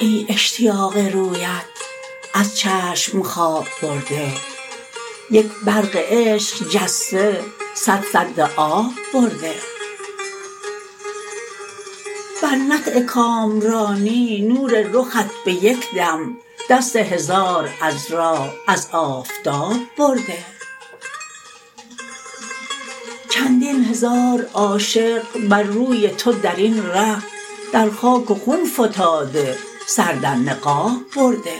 ای اشتیاق رویت از چشم خواب برده یک برق عشق جسته صد سد آب برده بر نطع کامرانی نور رخت به یک دم دست هزار عذرا از آفتاب برده چندین هزار عاشق بر روی تو درین ره در خاک و خون فتاده سر در نقاب برده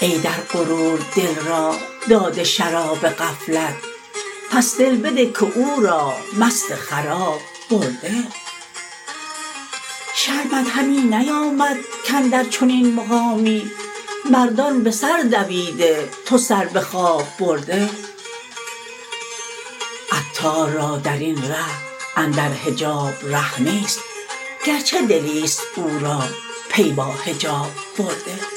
ای در غرور دل را داده شراب غفلت پس دل بده که او را مست خراب برده شرمت همی نیامد کاندر چنین مقامی مردان به سر دویده تو سر به خواب برده عطار را درین ره اندر حجاب ره نیست گرچه دلی است او را پی با حجاب برده